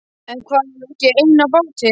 En þar erum við ekki ein á báti.